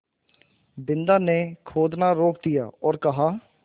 बिन्दा ने खोदना रोक दिया और कहा